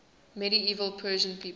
medieval persian people